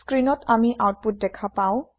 স্ক্ৰীনত আমি আওতপুত দেখা পাম